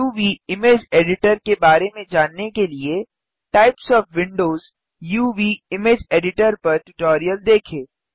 uvइमेज editor के बारे में जानने के लिए टाइप्स ओएफ विंडोज uvइमेज एडिटर विंडो के प्रकार यूवी इमेज एडिटर ट्यूटोरियल देखें